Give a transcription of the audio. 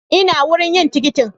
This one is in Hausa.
Ina wurin yin tikitin